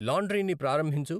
లాండ్రీని ప్రారంభించు